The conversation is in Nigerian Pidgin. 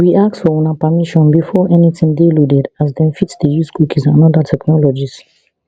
we ask for una permission before anytin dey loaded as dem fit dey use cookies and oda technologies